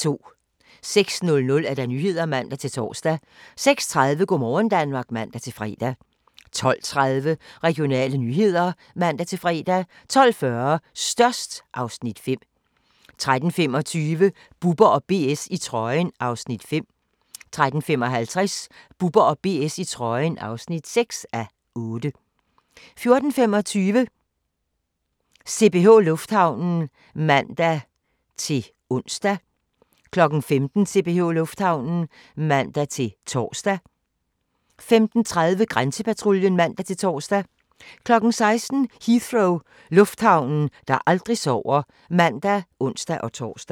06:00: Nyhederne (man-tor) 06:30: Go' morgen Danmark (man-fre) 12:30: Regionale nyheder (man-fre) 12:40: Størst (Afs. 5) 13:25: Bubber & BS i trøjen (5:8) 13:55: Bubber & BS i trøjen (6:8) 14:25: CPH Lufthavnen (man-ons) 15:00: CPH Lufthavnen (man-tor) 15:30: Grænsepatruljen (man-tor) 16:00: Heathrow - lufthavnen, der aldrig sover (man og ons-tor)